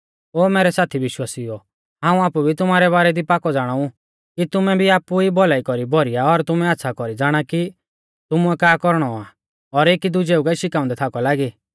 ओ मैरै साथी विश्वासिउओ हाऊं आपु भी तुमारै बारै दी पाकौ ज़ाणाऊ कि तुमै भी आपु ई भौलाई कौरी भौरीया और तुमै आच़्छ़ा कौरी ज़ाणा कि तुमुऐ का कौरणौ आ और एकी दुजेऊ कै शिखाउंदै थाकौ लागी